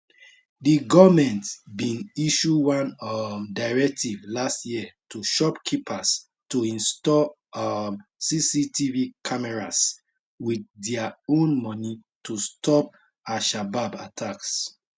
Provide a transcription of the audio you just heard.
di goment bin issue one um directive last year to shopkeepers to install um cctv cameras wit dia own money to stop alshabab attacks